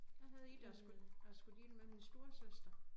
Jeg havde et jeg skulle jeg skulle dele med min storesøster